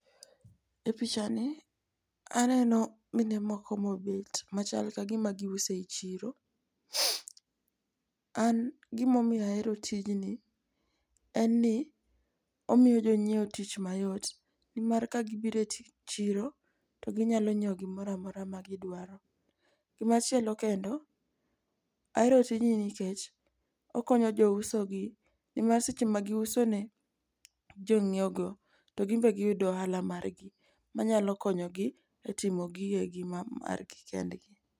E pichani aneno mine moko mobet machal ka gima giuso e chiro. An gima omiyo ahero tijni, en ni omiyo jonyiewo tich mayot nimar ka gibiro e chiro to ginyalo nyiewo gimoro amora ma gidwaro. Gimachielo kendo, ahero tijni nikech okonyo jousogi nimar seche ma giuso ne jonyiewogo to gin be giyudo ohala margi, manyalo konyogi e timo gigegi ma margi kendgi.